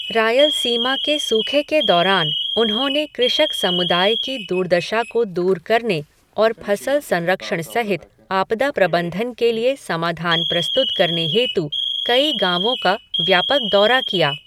रायलसीमा के सूखे के दौरान, उन्होंने कृषक समुदाय की दुर्दशा को दूर करने और फसल संरक्षण सहित आपदा प्रबंधन के लिए समाधान प्रस्तुत करने हेतु कई गाँवों का व्यापक दौरा किया।